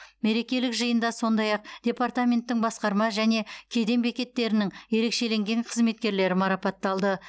мерекелік жиында сондай ақ департаменттің басқарма және кеден бекеттерінің ерекшеленген қызметкерлері марапатталды